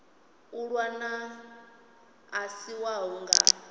ṅwana a si wau nga